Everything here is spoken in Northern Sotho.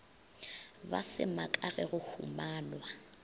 ba semaka ge go humanwa